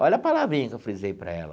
Olha a palavrinha que eu frisei para ela.